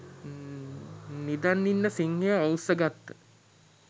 නිදන් ඉන්න සිංහයෝ අවුස්සගත්ත